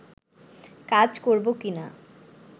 কাজ করব কিনা